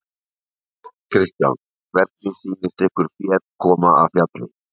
Kristján: Hvernig sýnist ykkur féð koma af fjalli?